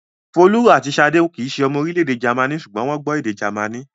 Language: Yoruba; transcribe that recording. Folú àti Ṣadé kì í ṣe ọmọ orílẹ̀-èdè Jámánì, ṣùgbọ́n wọ́n gbọ́ èdè Jámánì.